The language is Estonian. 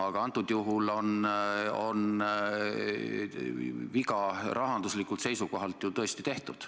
Praegusel juhul on rahanduslikult seisukohalt ju tõesti viga tehtud.